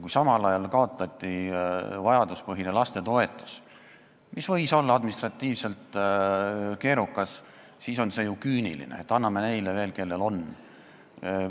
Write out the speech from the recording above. Kui samal ajal kaotati vajaduspõhine lapsetoetus, mille maksmine võis olla küll administratiivselt keerukas, siis on see ju küüniline, et anname neile veel, kellel on.